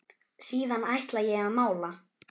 Síðan ætla ég að mála.